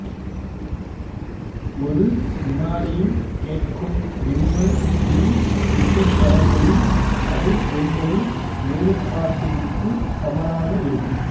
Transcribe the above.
ஒரு வினாடியில் கேட்கும் விம்மல் இரு இசைக்கவர்களின் அதிர்வெண்களின் வேறுபாட்டிற்கு சமனாக இருக்கும்